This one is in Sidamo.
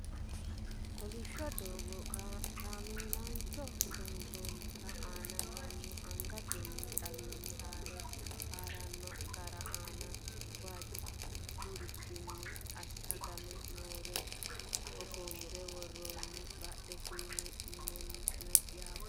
kolishsho doogo kameelajho loonsoonnite aana mannu angatenni xiiwanni haare haranno gaare aana waajjurichinni ashshagame nooree hogonbe worroonni badheseenni minna no yaate